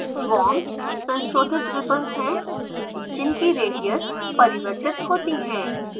worms संशोधित ribbons हैं जिनकी रेडियस त्रिज्या परिवर्तित होती है